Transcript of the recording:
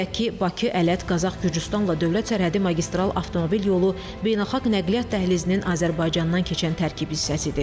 Qeyd edək ki, Bakı-Ələt-Qazax-Gürcüstanla dövlət sərhədi magistral avtomobil yolu beynəlxalq nəqliyyat dəhlizinin Azərbaycandan keçən tərkib hissəsidir.